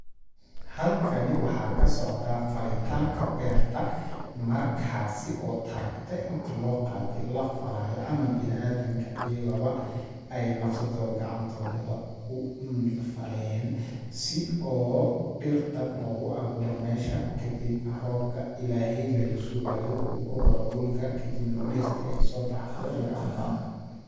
Halkani waxaa ka socdaa falitaanka beerta ,markaasi oo tarekte inti loo qaate la falaayo ama bini adamka ayaga ba ay nafsadooda gacantooda ku faleen ,si oo dhirta loogu awuuro meesha ,kadib roobka ilaheey laga sugaayo uu ku dhaco dhulka kadibna dhirti ay soo baxdo laga anfacdo.